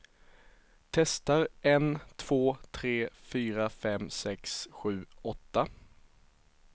Testar en två tre fyra fem sex sju åtta.